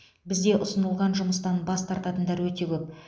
бізде ұсынылған жұмыстан бас тартатындар өте көп